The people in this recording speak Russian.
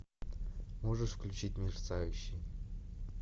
можешь включить мерцающий